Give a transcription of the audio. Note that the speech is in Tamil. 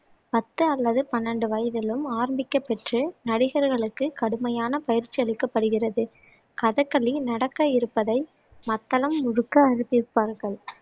பத்து அல்லது பன்னெண்டு வயதிலும் ஆரம்பிக்கப் பெற்று நடிகர்களுக்குக் கடுமையான பயிற்சியளிக்கப்படுகிறது கதகளி நடக்க இருப்பதை மத்தளம் முழக்க அறிவிப்பார்கள்